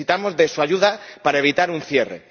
Necesitamos su ayuda para evitar un cierre.